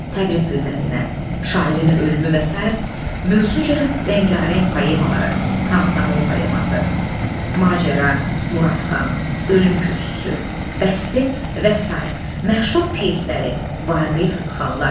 Təbriz gözəlinə, şairin ölümü və sair mövzuca rəngarəng poemaları, Komsomol poeması, Macəra, Muradxan, Ölüm kürsüsü, Bəsti və sair məşhur pyesləri Vaqif xanlar.